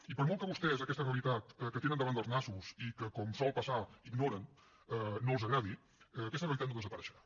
i per molt que a vostès aquesta realitat que tenen davant dels nassos i que com sol passar ignoren no els agradi aquesta realitat no desapareixerà